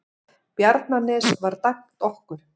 Bjarnanes var dæmt okkur!